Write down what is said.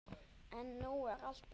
En nú er allt breytt.